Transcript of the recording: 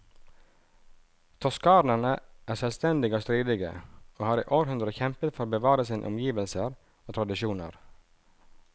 Toskanerne er selvstendige og stridige, og har i århundrer kjempet for å bevare sine omgivelser og tradisjoner.